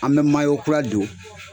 An bɛ mayo kura don